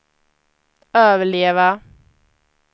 överleva